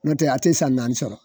N'o tɛ a ti san naani sɔrɔ